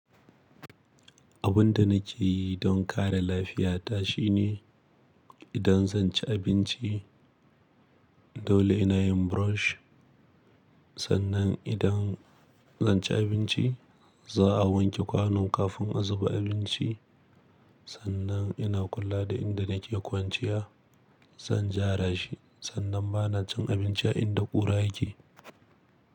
Abun da nake yi don kare lafiyata shine idan zan ci abinci dole ina yin brush. Sannan idan zan ci abinci za a wanke kwanon kafin a zuba abinci. Sannan ina kula da inda nake kwanciya. Zan ja rashi sannan ba na cin abinci a inda ƙura yake.